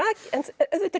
auðvitað er